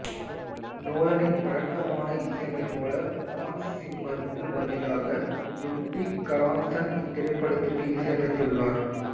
நோலனின் வழக்கமான இசையமைப்பாளர் Hans Zimmer இற்கு பதிலாக லுட்விக் கர்ரான்சன் இத்திரைப்படத்திற்கு இசையமைத்துள்ளார்